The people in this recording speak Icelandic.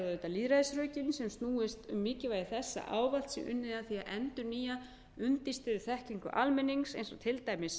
lýðræðisrökin sem snúast um mikilvægi þess að ávallt sé unnið að því að endurnýja undirstöðuþekkingu almennings eins og til dæmis